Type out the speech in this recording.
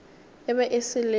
e be e se leo